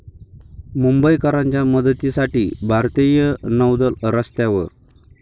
मुंबईकरांच्या मदतीसाठी भारतीय नौदल रस्त्यावर